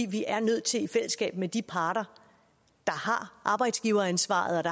vi er nødt til i fællesskab med de parter der har arbejdsgiveransvaret